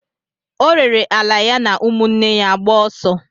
O rere ala ya na ụmụnne ya gbaa ọsọ.